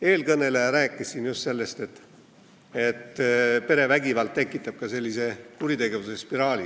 Eelkõneleja rääkis just sellest, et perevägivald tekitab ka kuritegevuse spiraali.